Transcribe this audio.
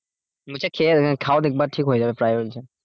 বলছে খেয়ে আহ খাও দেখবে ঠিক হয়ে যাবে প্রায়